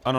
Ano.